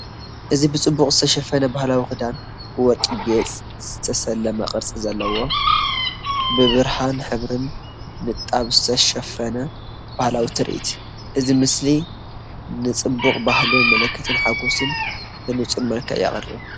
እዚ ብጽቡቕ ዝተሸፈነ ባህላዊ ክዳን፡ ብወርቂ ጌጽ ዝተሰለመ ቅርጺ ዘርኢ እዩ። ብብርሃንን ሕብርን ንጣብ ዝተሸፈነ በዓላዊ ትርኢት፤ እዚ ምስሊ ንጽባቐ ባህልን ምልክት ሓጎስን ብንጹር መልክዕ የቕርብ።"